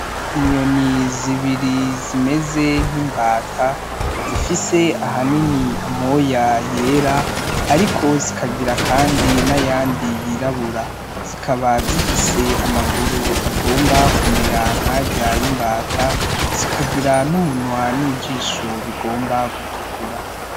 Inyoni zibiri zimeze nk'imbata zifise ahanini amoya yera ariko zikagira kandi nayandi yirabura, zikaba zifise amaguru agomba kumera nkarya y'imbata zikagira n'umunwa n'ijisho bigomba gutukura.